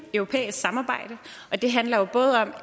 europæisk samarbejde men det handler om